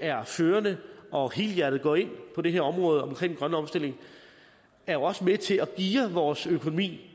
er førende og helhjertet går ind på det her område i forhold til den grønne omstilling er jo også med til at geare vores økonomi